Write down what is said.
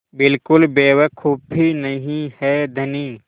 बिल्कुल बेवकूफ़ी नहीं है धनी